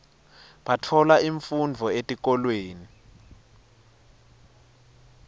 batfola imfundvo etikolweni